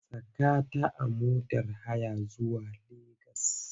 Saka ta a motar haya zuwa Legas!